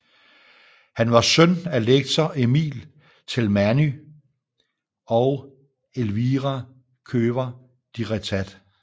Han var søn af lektor Emil Telmányi og Elvira Kövér de Réthàt